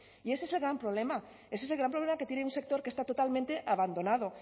y ese es el gran problema ese es el gran problema que tiene un sector que está totalmente abandonado